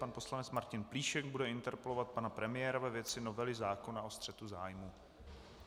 Pan poslanec Martin Plíšek bude interpelovat pana premiéra ve věci novely zákona o střetu zájmů.